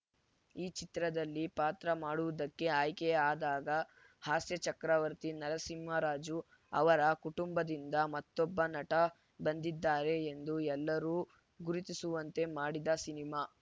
ಈ ಚಿತ್ರದಲ್ಲಿ ಪಾತ್ರ ಮಾಡುವುದಕ್ಕೆ ಆಯ್ಕೆ ಆದಾಗ ಹಾಸ್ಯ ಚಕ್ರವರ್ತಿ ನರಸಿಂಹ ರಾಜು ಅವರ ಕುಟುಂಬದಿಂದ ಮತ್ತೊಬ್ಬ ನಟ ಬಂದಿದ್ದಾರೆ ಎಂದು ಎಲ್ಲರು ಗುರುತಿಸುವಂತೆ ಮಾಡಿದ ಸಿನಿಮಾ